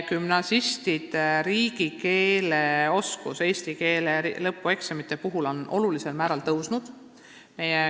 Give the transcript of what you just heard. Gümnasistide riigikeeleoskus, mida on näha eesti keele lõpueksami tulemustest, on olulisel määral paranenud.